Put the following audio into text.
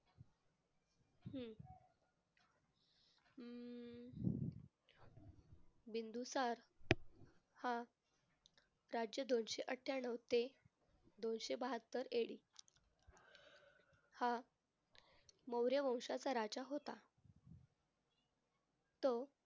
बिंदुसार हा राज्य दोनशे अठ्ठयानऊ ते दोनशे बाहत्तर हा मौर्य वंशाचा राजा होता. तो